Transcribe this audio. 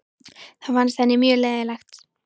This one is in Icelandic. Það fannst henni mjög leiðinlegt.